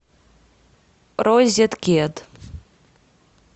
розеткед